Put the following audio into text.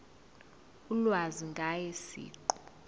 ulwazi ngaye siqu